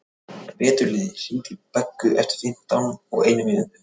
Veturliði, hringdu í Beggu eftir fimmtíu og eina mínútur.